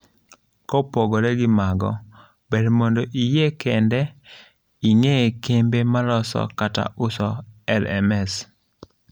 kopogre gi mago, ber mondo iyie KENDO r ing'ee kembe maloso kata uso LMS.